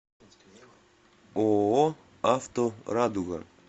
ооо авто радуга